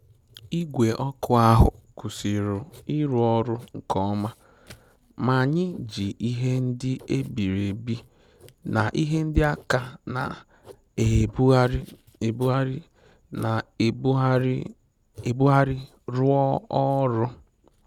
Igwe okụ ahụ kwụsịrị ịrụ ọrụ nko oma, ma anyị ji ihe ndị e biri ebi na ihe ndị aka a na-ebugharị ebugharị na-ebugharị ebugharị rụọ ọrụ.